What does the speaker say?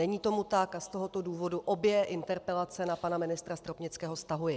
Není tomu tak a z tohoto důvodu obě interpelace na pana ministra Stropnického stahuji.